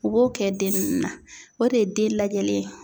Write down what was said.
U b'o kɛ den ninnu na o de ye den lajɛli ye.